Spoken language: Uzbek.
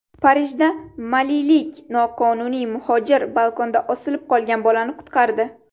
Parijda malilik noqonuniy muhojir balkonda osilib qolgan bolani qutqardi.